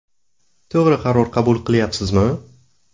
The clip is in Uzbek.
To‘g‘ri qaror qabul qilyapsizmi?